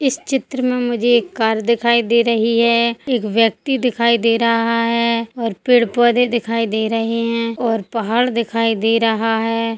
इस चित्र में मुझे एक कार दिखाई दे रही है एक व्यक्ति दिखाई दे रहा है और पेड़- पौधे दिखाई दे रहे है और पहाड़ दिखाई दे रहा हैं।